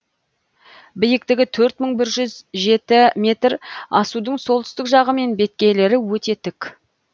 биіктігі төрт мың бір жүз жеті метр асудың солтүстік жағы мен беткейлері өте тік